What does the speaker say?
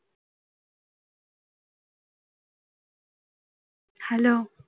hello